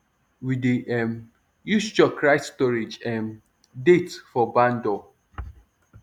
we dey um use chalk write storage um date for barn door